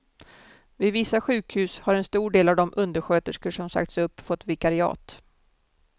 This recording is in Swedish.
Vid vissa sjukhus har en stor del av de undersköterskor som sagts upp fått vikariat.